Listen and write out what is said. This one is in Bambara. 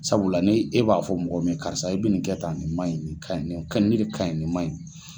Sabula ni e b'a fɔ mɔgɔ min ye karisa i bɛ nin kɛ tan nin man ɲi ni ka ɲi ni de ka ɲi ni man ɲi.